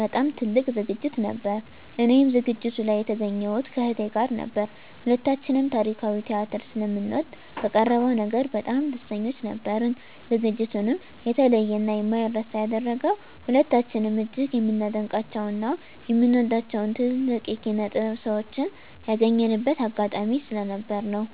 በጣም ትልቅ ዝግጅት ነበር። እኔም ዝግጅቱ ላይ የተገኘሁት ከእህቴ ጋር ነበር። ሁለታችንም ታሪካዊ ቲያትር ስለምንወድ በቀረበው ነገር በጣም ደስተኞች ነበርን። ዝግጅቱንም የተለየ እና የማይረሳ ያደረገው ሁለታችንም እጅግ የምናደንቃቸው እና የምንወዳቸውን ትልልቅ የኪነ -ጥበብ ሰዎችን ያገኘንበት አጋጣሚ ስለነበር ነው።